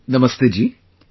Namaste Ji |